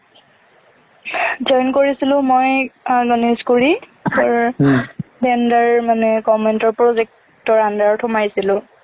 join কৰিছিলোঁ মই আহ গণেশগুৰি তোৰ tender মানে comment ৰ project ৰ under ত সোমাইছিলোঁ